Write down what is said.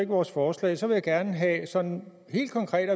vores forslag så vil jeg gerne have at vide sådan helt konkret